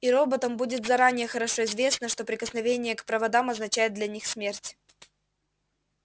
и роботам будет заранее хорошо известно что прикосновение к проводам означает для них смерть